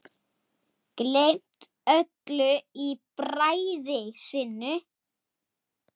Gleymt öllu í bræði sinni.